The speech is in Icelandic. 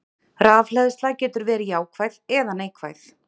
Rafhleðsla getur verið jákvæð eða neikvæð.